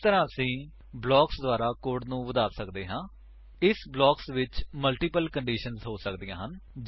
ਇਸ ਤਰ੍ਹਾਂ ਅਸੀ ਬਲਾਕਸ ਦੁਆਰਾ ਕੋਡ ਨੂੰ ਵਧਾ ਸੱਕਦੇ ਹਾਂ ਇਸ ਬਲਾਕਸ ਵਿੱਚ ਮਲਟੀਪਲ ਕੰਡੀਸ਼ੰਸ ਹੋ ਸਕਦੀਆਂ ਹਨ